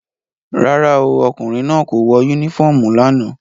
Rárá o, ọkùnrin náà kò wọ unifọmú lánàá.